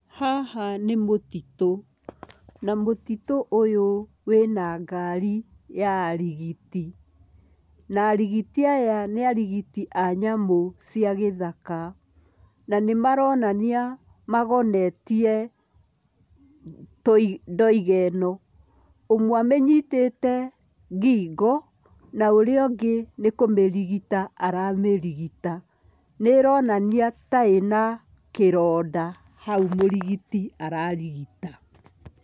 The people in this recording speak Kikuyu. Haha nĩ mũtitũ na mũtitũ ũyũ wĩna ngari ya arigiti na arigiti aya nĩ arigiti a nyamũ cia gĩthaka, na nĩmaronania magonetie tũi ndũiga ĩno, ũmwe amĩnyitĩte ngingo na ũrĩa ũngĩ nĩ kũmĩrigita aramĩrigita, nĩronania ta ĩna kĩronda hau mũrigiti ararigita.